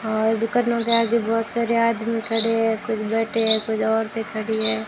और दुकानों के आगे बहोत सारे आदमी खड़े हैं कुछ बैठे हैं कुछ औरते खड़ी हैं।